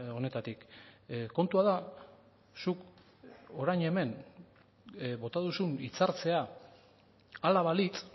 honetatik kontua da zuk orain hemen bota duzun hitzartzea hala balitz